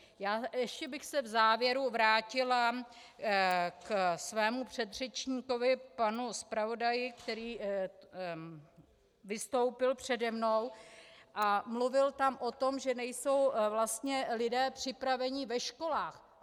Ještě bych se v závěru vrátila k svému předřečníkovi, panu zpravodaji, který vystoupil přede mnou a mluvil tam o tom, že nejsou vlastně lidé připraveni ve školách.